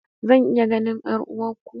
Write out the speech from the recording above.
Zan iya ganin 'yar'uwarku?